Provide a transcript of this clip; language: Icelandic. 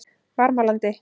Varmalandi